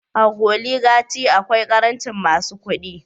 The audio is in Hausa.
A oligachy akwai karancin masu kudi